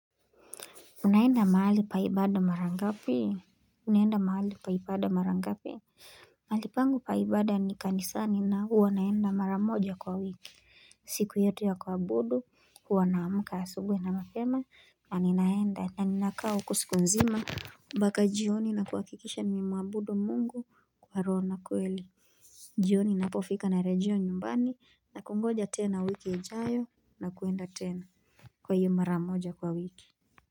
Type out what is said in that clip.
Unaenda mahali pa ibada mara ngapi, unaenda mahali pa ibada mara ngapi mahali pangu pa ibada ni kanisani na huwa naenda mara moja kwa wiki siku yetu ya kuabudu huwa naamka asubuhi na mapema na ninaenda na ninakaa huko siku mzima mbaka jioni na kuhakikisha nimemwabudu mungu kwa roho na kweli jioni napofika narejea nyumbani na kungoja tena wiki ijayo na kuenda tena Kwa hiyo mara moja kwa wiki.